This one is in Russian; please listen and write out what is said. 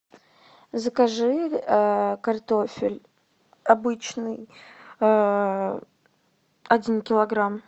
закажи картофель обычный один килограмм